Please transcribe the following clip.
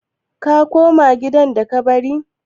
Ka koma gidan da ka bari?